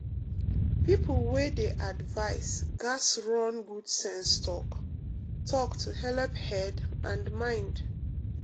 people wey dey advice gats run good sense talk-talk to helep head and mind.